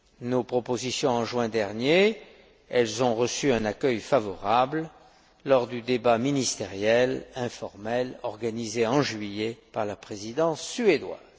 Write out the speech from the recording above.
nos propositions en juin dernier, et elles ont reçu un accueil favorable lors du débat ministériel informel organisé en juillet par la Présidence suédoise.